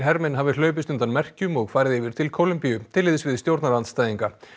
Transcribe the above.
hermenn hafi hlaupist undan merkjum og farið yfir til Kólumbíu til liðs við stjórnarandstæðinga